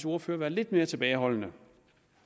ordfører være lidt mere tilbageholdende